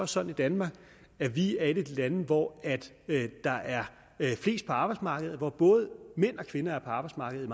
sådan i danmark at vi er et af de lande hvor der er flest på arbejdsmarkedet hvor både mænd og kvinder er på arbejdsmarkedet